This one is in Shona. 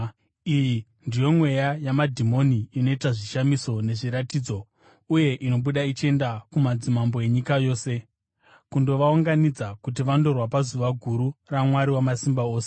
Iyi ndiyo mweya yamadhimoni inoita zvishamiso nezviratidzo, uye inobuda ichienda kumadzimambo enyika yose, kundovaunganidza kuti vandorwa pazuva guru raMwari Wamasimba Ose.